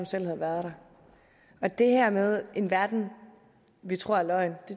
selv havde været der det her med en verden vi tror er løgn